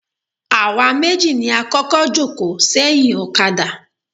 Àwa méjì ni a kọ́kọ́ jòkó sẹ́yìn ọ̀kadà.